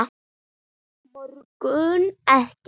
Borgum Ekki!